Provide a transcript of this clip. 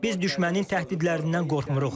Biz düşmənin təhdidlərindən qorxmuruq.